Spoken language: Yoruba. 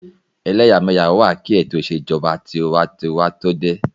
Ẹlẹ́yàmẹ́yà wà kí ètò ìṣèjọba tinwatinwa tó dé